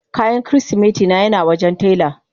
Kayan kirisimeti na yana wajen taila.